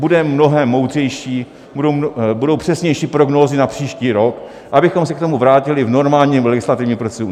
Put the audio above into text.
Budeme mnohem moudřejší, budou přesnější prognózy na příští rok, abychom se k tomu vrátili v normálním legislativním procesu.